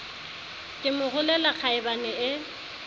ke mo rolela kgaebane e